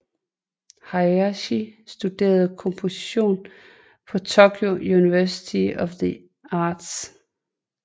Hayashi studerede komposition på Tokyo University of the Arts